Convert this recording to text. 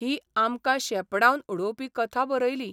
ही आमकां शेपडावन उडोवपी कथा बरयली.